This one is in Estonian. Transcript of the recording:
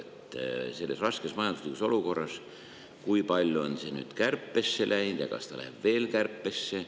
Kui palju on praeguses raskes majanduslikus olukorras sellest nüüd kärpesse läinud ja kas läheb veel kärpesse?